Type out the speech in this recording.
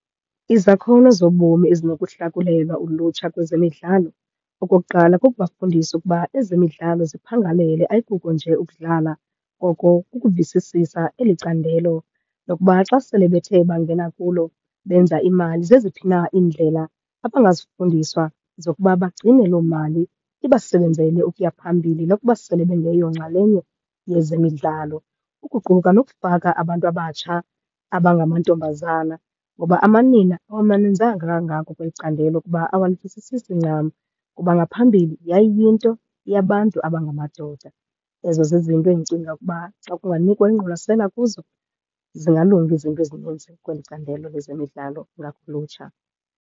Izakhono zobomi ezinokuhlakulelwa ulutsha kwezemidlalo. Okokuqala kukubafundisa ukuba ezemidlalo ziphangalele, ayikuko nje ukudlala. Koko kukuvisisisa eli candelo lokuba xa sele bethe bangena kulo benza imali, zeziphi na iindlela abangazifundiswa zokuba bagcine loo mali ibasebenzele ukuya phambili nokuba sele bengeyonxalenye yezemidlalo. Ukuquka nokufaka abantu abatsha abangamantombazana ngoba amanina awamaninzanga kangako kweli candelo kuba awalivisisisi ncam kuba ngaphambili yayiyinto yabantu abangamadoda. Ezo zizinto endicinga ukuba xa kunganikwa ingqwalasela kuzo zingalunga izinto ezininzi kweli candelo lezemidlalo ngakulutsha.